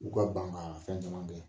U ka ban ka fɛn caman kɛ